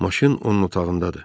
Maşın onun otağındadır.